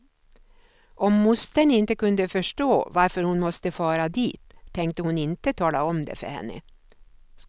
Om mostern inte kunde förstå varför hon måste fara dit, tänkte hon inte tala om det för henne.